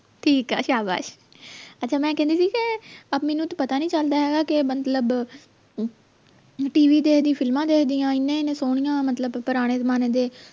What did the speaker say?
ਠੀਕ ਹੈ ਸ਼ਾਬਾਸ਼ ਅੱਛਾ ਮੈਂ ਕਹਿੰਦੀ ਸੀ ਕੇ ਆ ਮੈਨੂੰ ਤਾਂ ਪਤਾ ਨੀ ਚਲਦਾ ਹੈਗਾ ਮਤਲਬ TV ਤੇ ਏਹਦੀ ਫ਼ਿਲਮਾਂ ਦੇਖਦਿਆਂ ਇੰਨੇ ਇੰਨੇ ਸੋਹਣੀਆਂ ਮਤਲਬ ਪੁਰਾਣੇ ਜਮਾਨੇ ਦੇ